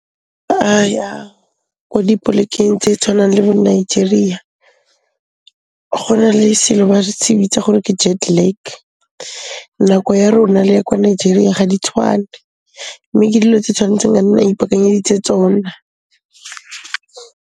Ba ya ko dipolekeng tse tshwanang le bo Nigeria, go na le selo ba se bitsa gore ke jet lag. Nako ya rona le ya kwa Nigeria ga di tshwane, mme ke dilo tse tshwantseng o nne o ipaakanyeditse tsona.